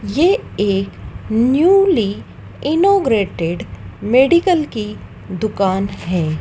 ये एक newly inaugurated medical की दुकान है।